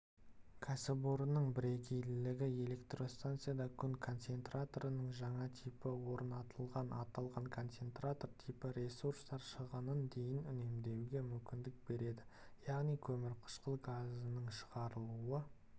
кәсіпорынның бірегейлігі электростанцияда күн концентраторының жаңа типі орнатылған аталған концентратор типі ресурстар шығынын дейін үнемдеуге мүмкіндік береді яғни көмірқышқыл газының шығарылуы